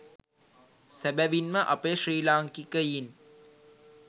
සැබැවින්ම අපේ ශ්‍රී ලාංකිකයින්